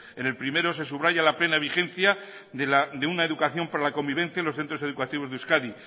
en el primero se subraya la pena vigencia de una educación para convivencia en los centros educativos de euskadi